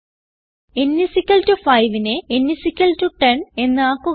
n 5നെ n 10 എന്ന് ആക്കുക